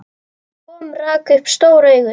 Tom rak upp stór augu.